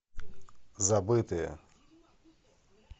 забытые